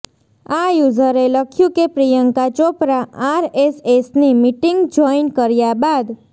આ યૂઝરે લખ્યું કે પ્રિયંકા ચોપરા આરએસએસની મીટિંગ જોઈન કર્યા બાદ